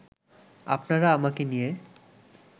আপনারা আমাকে নিয়ে